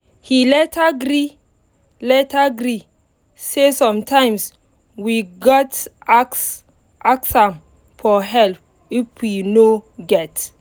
he later gree later gree say sometimes we gat ask am for help if we no get